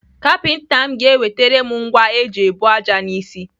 Kapinta m ga-ewetere m ngwa eji ebu ájá n'isi.